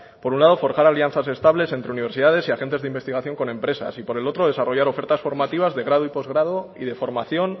por un lado forjar alianzas estables entre universidades y agentes de investigación con empresas y por el otro desarrollar ofertas formativas de grado y postgrado y de formación